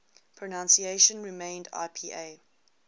pronunciation remained ipa